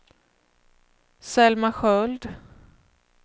Selma Sköld